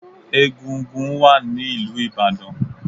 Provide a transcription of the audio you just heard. Egúngún wà ní ìlú Ìbàdàn.